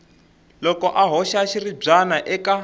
loko a hoxa xiribyana eka